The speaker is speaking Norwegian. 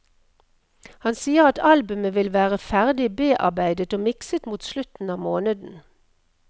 Han sier at albumet vil være ferdig bearbeidet og mikset mot slutten av måneden.